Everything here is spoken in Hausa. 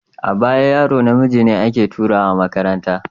A baya yaro namiji ne ake turawa makaranta.